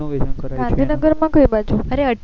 અરે અઠયાવીસ ગાંધીનગર માં કઈ બાજુ